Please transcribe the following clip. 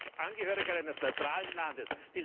Das sage ich als Angehöriger eines neutralen Landes.